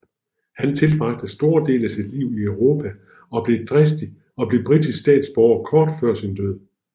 Han tilbragte store dele af sit liv i Europa og blev britisk statsborger kort før sin død